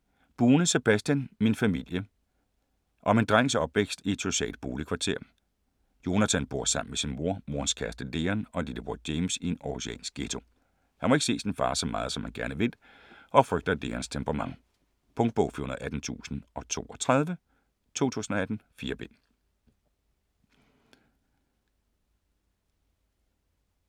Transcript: Bune, Sebastian: Min familie Om en drengs opvækst i et socialt boligkvarter. Jonathan bor sammen med sin mor, morens kæreste Leon og lillebror James i en århusiansk ghetto. Han må ikke se sin far så meget, som han gerne vil, og frygter Leons temperament. Punktbog 418032 2018. 4 bind.